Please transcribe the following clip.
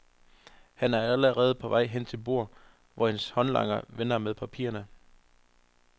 Han og er allerede på vej hen til bordet, hvor hendes håndlanger venter med papirerne.